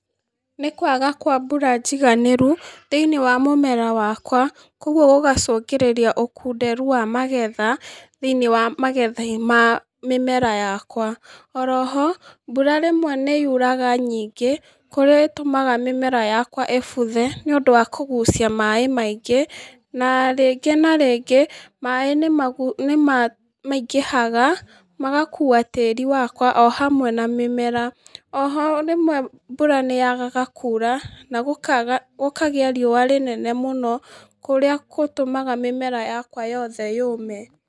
Nĩ kwaga kwa mbura njiganĩru, thĩ-inĩ wa mũmera wakwa, koguo ũgacũngĩrĩria ũkunderu wa magetha thĩ-inĩ wa magetha ma mĩmera yakwa, oroho, mbura rĩmwe nĩyuraga nyingĩ, kũrĩa ĩtũmaga mĩmera yakwa ĩbuthe nĩũndũ wa kũgucia maĩ maingĩ, na rĩngĩ na rĩngĩ, maĩ nĩmagu nĩmaingĩhaga, magakua tĩri wakwa o hamwe na mĩmera, oho rĩmwe mbura nĩyagaga kura na gũkaga, gũkagĩa riũa inene mũno kũrĩa kũtũmaga mĩmera yakwa yothe yũme.